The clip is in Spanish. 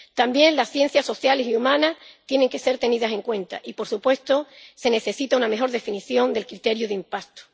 También las ciencias sociales y humanas tienen que ser tenidas en cuenta y, por supuesto, se necesita una mejor definición del criterio de impacto.